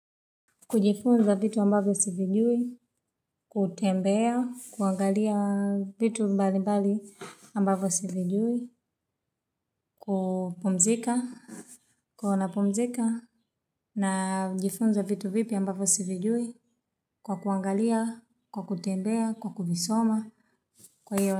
Kujifunza vitu ambavyo sivijui, kutembea, kuangalia vitu mbali mbali ambavyo sivijui, kupumzika. Kona pumzika na jifunza vitu vipia ambavyo sivijui kwa kuangalia, kwa kutembea, kwa kufisoma, kwa hiyo.